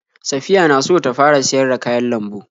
Saffiya na so ta fara siyar da kayan lambu.